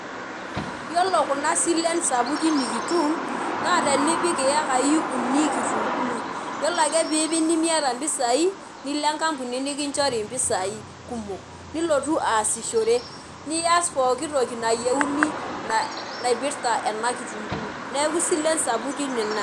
Yiolo kunasilen sapukin nikitum naa tenipik iyeaki uni kitunkuu , yiolo ake pipik nemiata impisai , nilo enkampuni nikinchori impisai kumok , nilotu aasishore , nias pooki toki nayieuni naipirta enakitunkuu neeku isilen sapukin ina.